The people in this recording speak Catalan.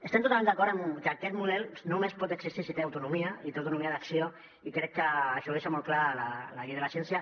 estem totalment d’acord amb que aquest model només pot existir si té autonomia i té autonomia d’acció i crec que això ho deixa molt clar la llei de la ciència